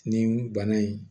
Nin bana in